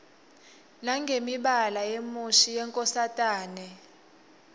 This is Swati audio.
nangemibala yemushi yenkosatane